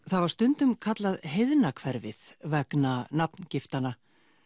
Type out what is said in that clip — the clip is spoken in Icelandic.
það var stundum kallað heiðna hverfið vegna nafngiftanna